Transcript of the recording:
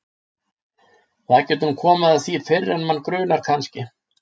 Það getur nú komið að því fyrr en mann grunar kannski!